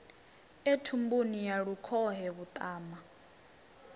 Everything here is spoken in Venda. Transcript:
e thumbuni ya lukhohe vhuṱama